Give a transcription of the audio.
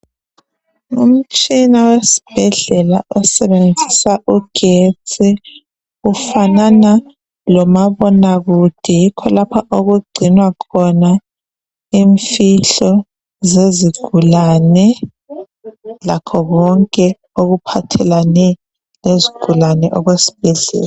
Umtshina wesibhedlela osebenzisa ugetsi. Ufanana lomabonakude. Yikho lapha okugcinwa khona imfihlo zezigulane. Lakho konke okuphathelane lezigulane okwesibhedlela.